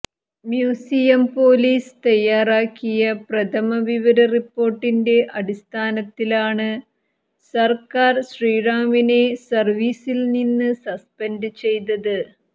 museum police തയ്യാറാക്കിയ പ്രഥമവിവര റിപ്പോർട്ടിന്റെ അടിസ്ഥാനത്തിലാണ് സർക്കാർ ശ്രീറാമിനെ സർവീസിൽനിന്ന് സസ്പെൻഡ് ചെയ്തത്